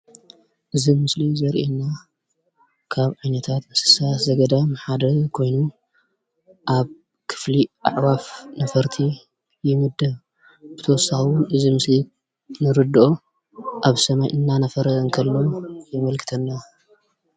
እዚ ምስሊ ዘርእየና ካብ ዓይነታት እንስሳ ዘገዳም ሓደ ኮይኑ ኣብ ክፍሊ አእዋፍ ነፈርቲ ይምደብ ። ብተወሳኺ እውን እዚ ምስሊ እንርደኦ ኣብ ሰማይ እንናነፈረ እከሎ የመልክተና ።